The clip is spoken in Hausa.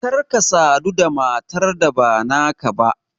Kar ka sadu da matar da ba naka ba!